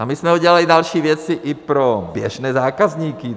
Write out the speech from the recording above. A my jsme udělali další věci i pro běžné zákazníky.